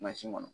kɔnɔ